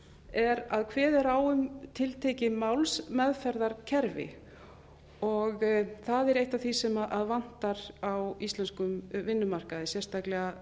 er að kveðið er á um tiltekið málsmeðferðarkerfi og það er eitt af því sem vantar á íslenskum vinnumarkaði sérstaklega